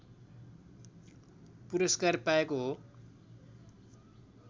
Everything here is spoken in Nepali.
पुरस्कार पाएको हो